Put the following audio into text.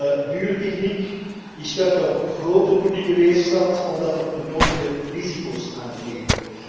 Het is een dure techniek, die stuit op grote publieke weerstand, omdat er de nodige risico's aan kleven.